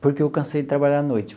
Porque eu cansei de trabalhar à noite.